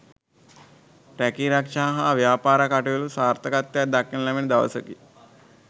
රැකීරක්ෂා හා ව්‍යාපාර කටයුතුවල සාර්ථකත්වයක් දක්නට ලැබෙන දවසකි